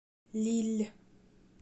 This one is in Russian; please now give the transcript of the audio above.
лилль